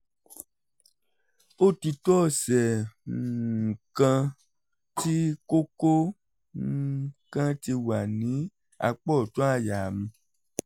ó ti tó ọ̀sẹ̀ um kan tí kókó um kan ti wà ní apá ọ̀tún àyà mi